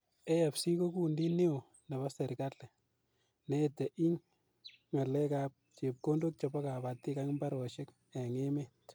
AFC ko kundit neo nebo serikali ne ete ing ngalek ap chepkondok chepo kapatik akmbaroshek ing emet.